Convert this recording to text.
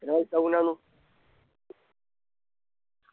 പിന്നെ ഉണ്ടാന്നു